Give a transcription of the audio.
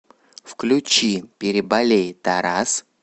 включи переболей тарас